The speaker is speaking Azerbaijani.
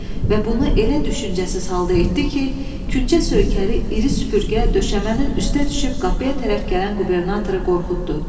Və bunu elə düşüncəsiz halda etdi ki, küncə söykəli iri süpürgə döşəmənin üstə düşüb qapıya tərəf gələn qubernatoru qorxutdu.